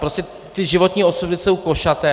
Prostě ty životní osudy jsou košaté.